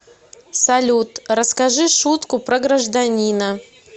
салют расскажи шутку про гражданина